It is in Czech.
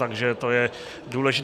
Takže to je důležité.